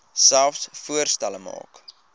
selfs voorstelle maak